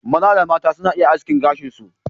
Maza da mata suna iya askin gashin su.